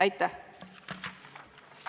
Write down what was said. Aitäh!